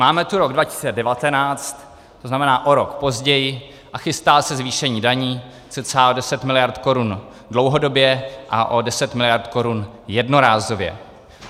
Máme tu rok 2019, to znamená o rok později, a chystá se zvýšení daní cca o 10 miliard korun dlouhodobě a o 10 miliard korun jednorázově.